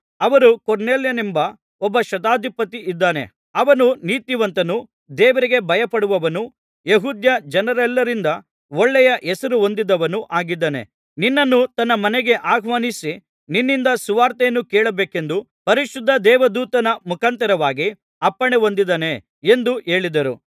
ಅವರು ಕೊರ್ನೆಲ್ಯನೆಂಬ ಒಬ್ಬ ಶತಾಧಿಪತಿ ಇದ್ದಾನೆ ಅವನು ನೀತಿವಂತನೂ ದೇವರಿಗೆ ಭಯಪಡುವವನೂ ಯೆಹೂದ್ಯ ಜನರೆಲ್ಲರಿಂದ ಒಳ್ಳೆಯ ಹೆಸರು ಹೊಂದಿದವನೂ ಆಗಿದ್ದಾನೆ ನಿನ್ನನ್ನು ತನ್ನ ಮನೆಗೆ ಆಹ್ವಾನಿಸಿ ನಿನ್ನಿಂದ ಸುವಾರ್ತೆಯನ್ನು ಕೇಳಬೇಕೆಂದು ಪರಿಶುದ್ಧ ದೇವದೂತನ ಮುಖಾಂತರವಾಗಿ ಅಪ್ಪಣೆ ಹೊಂದಿದ್ದಾನೆ ಎಂದು ಹೇಳಿದರು